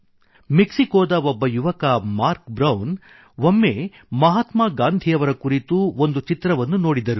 ಮೆಕ್ಸಿಕೊದ ಒಬ್ಬ ಯುವಕ Mark Brown ಒಮ್ಮೆ ಮಹಾತ್ಮಾ ಗಾಂಧಿಯವರ ಕುರಿತು ಒಂದು ಚಿತ್ರವನ್ನು ನೋಡಿದ